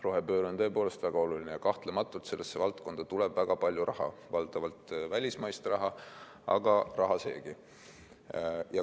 Rohepööre on tõepoolest väga oluline ja kahtlematult tuleb sellesse valdkonda väga palju raha, valdavalt välismaist raha, aga raha seegi.